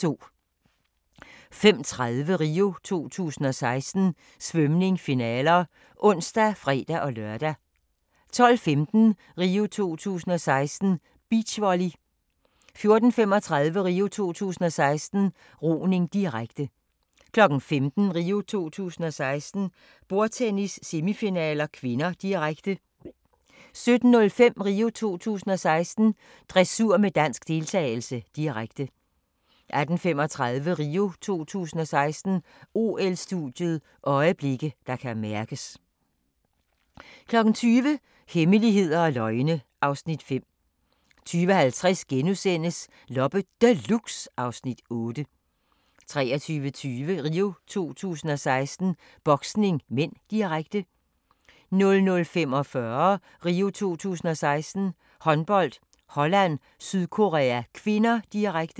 05:30: RIO 2016: Svømning - finaler (ons og fre-lør) 12:15: RIO 2016: Beachvolley 14:35: RIO 2016: Roning, direkte 15:00: RIO 2016: Bordtennis - semifinaler (k), direkte 17:05: RIO 2016: Dressur med dansk deltagelse, direkte 18:35: RIO 2016: OL-studiet – øjeblikke, der kan mærkes 20:00: Hemmeligheder og løgne (Afs. 5) 20:50: Loppe Deluxe (Afs. 8)* 23:20: RIO 2016: Boksning (m), direkte 00:45: RIO 2016: Håndbold - Holland-Sydkorea (k), direkte